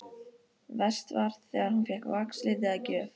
Verst var þegar hún fékk vaxliti að gjöf.